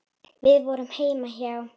Við vorum heima hjá